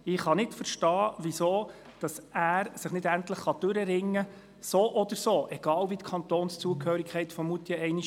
Ich kann nicht verstehen, weshalb er sich nicht endlich dazu durchringen kann, die Gebäudestrategie im Hinblick auf einen Kantonswechsel zu definieren.